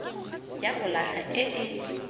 ya go latlha e e